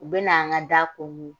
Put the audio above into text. U bɛ na an ka da konko